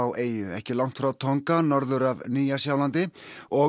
eyjunni ekki langt frá Tonga norður af Nýja Sjálandi og